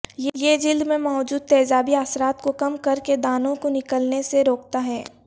یہ جلد میں موجود تیزابی اثرات کو کم کرکے دانوں کو نکلنے سے روکتا ہے